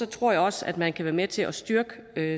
tror jeg også at man kan være med til at styrke